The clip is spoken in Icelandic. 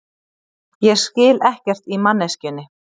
Ég skil ekkert í manneskjunni.